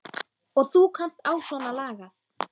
Og þú kannt á svona lagað.